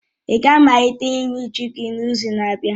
ị ga-amalite iwe ji gị n'izu na-abịa?